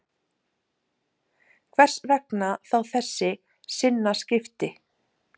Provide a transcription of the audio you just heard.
Hvers vegna þá þessi sinnaskipti